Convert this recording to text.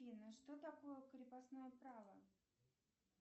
афина что такое крепостное право